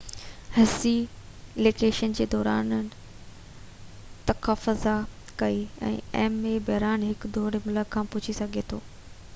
هسي election جي دوران تقاضا ڪئي ته ايم اي بحران جي هڪ دور ۾ ملڪ کان ڀڄي سگهي ٿو